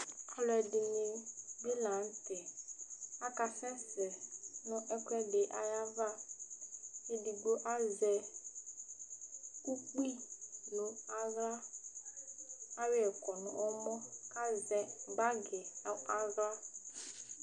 Alʋɛdìní bi la ntɛ akasɛsɛ nʋ ɛkʋɛdi ayʋ ava Ɛdigbo azɛ ʋkpi nʋ aɣla kʋ ayɔ yɛ kɔ nʋ ɛmɔ kʋ azɛ bag nu aɣla